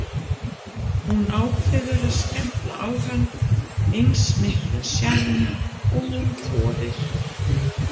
Hún ákveður að skella á hann eins miklum sjarma og hún þorir.